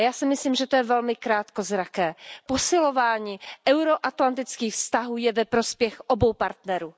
Já si myslím, že to je velmi krátkozraké. Posilování euro atlantických vztahů je ve prospěch obou partnerů.